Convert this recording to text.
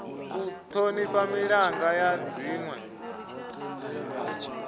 u thonifha milanga ya dzinwe